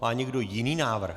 Má někdo jiný návrh?